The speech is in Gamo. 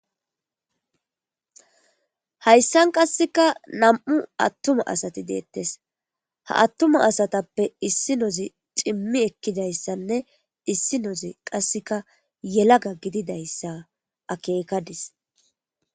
Hayissan qasekka nam"u attumma asati dettes ha atumma asatappe issinoz cimmi ekidayssanne is issinoz qasekka yelaga gididayssa akekadis